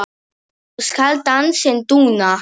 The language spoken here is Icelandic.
svo skal dansinn duna